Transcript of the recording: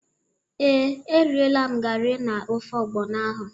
Ee, erịela m gari na ofe ọgbọnọ ahụ.